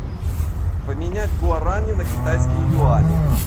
поменять гуарани на китайские юани